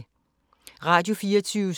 Radio24syv